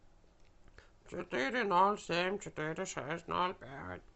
четыре ноль семь четыре шесть ноль пять